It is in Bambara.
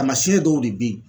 Taamasiyɛn dɔw de bɛ yen